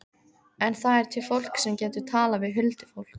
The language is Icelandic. En það er til fólk sem getur talað við huldufólk.